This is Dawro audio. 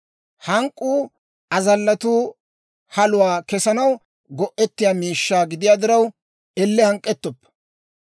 Hank'k'uu azallatuu haluwaa kesanaw go'ettiyaa miishshaa gidiyaa diraw, elle hank'k'ettoppa.